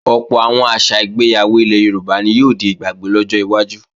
Ọ̀pọ̀ àwọn àṣà ìgbéyàwó ilẹ̀ Yorùbá ni yóò di ìgbàgbé lọ́jọ́ iwájú